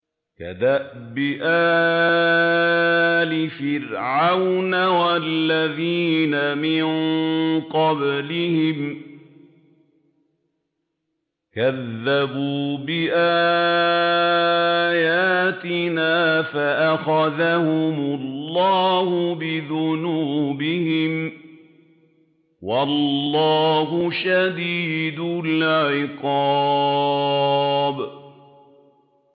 كَدَأْبِ آلِ فِرْعَوْنَ وَالَّذِينَ مِن قَبْلِهِمْ ۚ كَذَّبُوا بِآيَاتِنَا فَأَخَذَهُمُ اللَّهُ بِذُنُوبِهِمْ ۗ وَاللَّهُ شَدِيدُ الْعِقَابِ